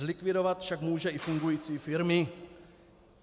Zlikvidovat však může i fungující firmy.